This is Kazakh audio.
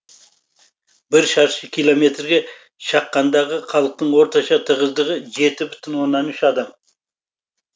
бір шаршы километрге шаққандағы халықтың орташа тығыздығы жеті бүтін оннан үш адам